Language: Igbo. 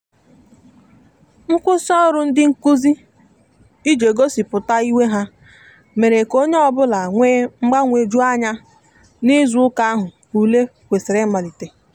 nkwụsị ọrụ ndị nkụzi ije gosipụta iwe ha mere ka onye ọbụla wee mgbanweju anya n'izụ ụka ahu ụle kwesiri imalite